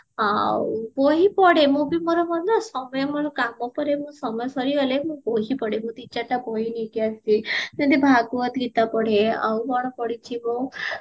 ଆଉ ବହି ପଢେ ମୁଁ ବି ମୋର ନା ସମୟ କମ ପରେ ମୋର ସମୟ ସରିଗଲେ ମୁଁ ବହି ପଢେ ମୁଁ ଦି ଚାରିଟା ବହି ପଢେ ଭାଗବତ ଗୀତା ପଢେ ଆଉ କଣ ପଢିଚି ମୁଁ